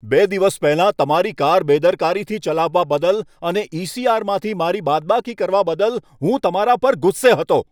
બે દિવસ પહેલાં તમારી કાર બેદરકારીથી ચલાવવા બદલ અને ઈ.સી.આર.માંથી મારી બાદબાકી કરવા બદલ હું તમારા પર ગુસ્સે હતો.